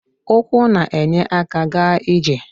Ụkwụ na-enye aka ịga ije.